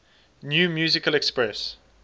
new musical express